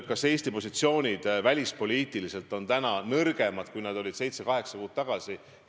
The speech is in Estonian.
Kas Eesti välispoliitilised positsioonid on täna nõrgemad, kui nad olid seitse-kaheksa kuud tagasi?